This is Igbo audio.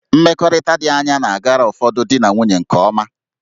Mmekọrịta dị anya na-agara ụfọdụ di na nwunye nke ọma